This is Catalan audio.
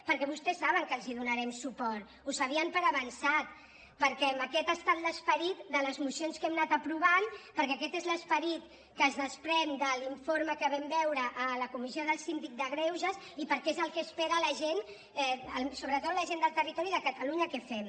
perquè vostès saben que els donarem suport ho sabien per avançat perquè aquest ha estat l’esperit de les mocions que hem anat aprovant perquè aquest és l’esperit que es desprèn de l’informe que vam veure a la comissió del síndic de greuges i perquè és el que espera la gent sobretot la gent del territori de catalunya que fem